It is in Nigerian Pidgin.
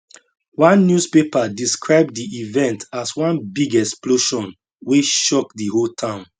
one newspaper describe di event as one big explosion wey shock di whole town